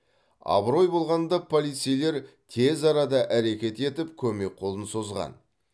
абырой болғанда полицейлер тез арада әрекет етіп көмек қолын созған